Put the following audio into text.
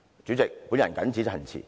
主席，我謹此陳辭。